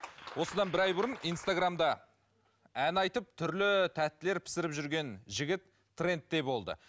осыдан бір ай бұрын инстаграмда ән айтып түрлі тәттілер пісіріп жүрген жігіт трендте болды